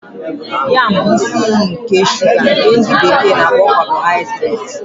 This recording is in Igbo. Yam bụ isi iyi nke shuga nke ndi bekee na-akpo kabohaidreti.